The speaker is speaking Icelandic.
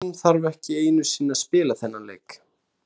Á pappírunum þarf ekki einu sinni að spila þennan leik.